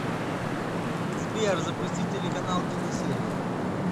сбер запусти телеканал киносерия